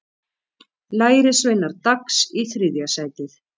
Lærisveinar Dags í þriðja sætið